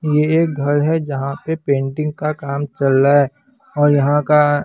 ये एक घर है जहां पे पेंटिंग का काम चल रहा है और यहां का--